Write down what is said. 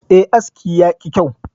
E, aski yaki kyau.